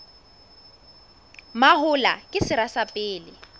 mahola ke sera sa pele